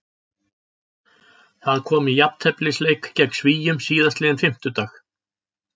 Það kom í jafnteflisleik gegn Svíum síðastliðinn fimmtudag.